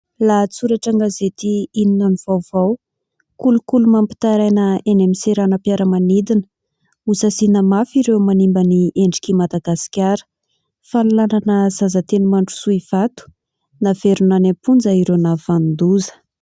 Lahatsoratra an-gazety Inona no Vaovao : Kolikoly mampitaraina eny amin'ny seranam-piaramanidina, Ho saziana mafy ireo manimba ny endrik'i Madagasikara ; Fanolanana zaza teny Mandrosoa Ivato : naverina any am-ponja ireo nahavanon-doza.